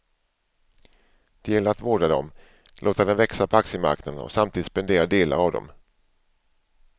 Det gäller att vårda dem, låta den växa på aktiemarknaden och samtidigt spendera delar av dem.